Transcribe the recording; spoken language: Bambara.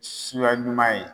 Suya ɲuman ye.